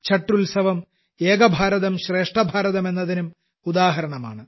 ഛഠ് ഉത്സവം ഏക ഭാരതം ശ്രേഷ്ഠഭാരതം എന്നതിനും ഉദാഹരണമാണ്